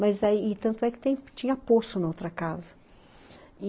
Mas aí tanto é que tinha poço na outra casa.